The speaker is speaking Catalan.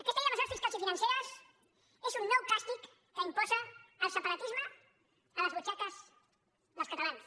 aquesta llei de mesures fiscals i financeres és un nou càstig que imposa el separatisme a les butxaques dels catalans